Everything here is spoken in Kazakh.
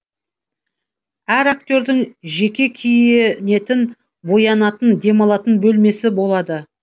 әр актердің жеке киінетін боянатын демалатын бөлмесі болады